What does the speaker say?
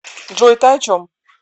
джой ты о чем